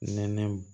Nɛnɛ